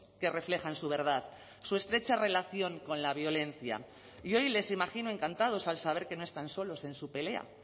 que reflejan su verdad su estrecha relación con la violencia y hoy les imagino encantados al saber que no están solos en su pelea